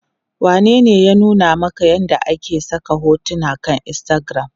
Wanene ya nuna maka yadda ake saka hotuna akan instagram?